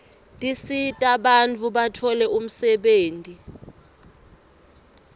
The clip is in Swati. tisita bantfu batfole umsebenti